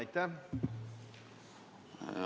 Aitäh!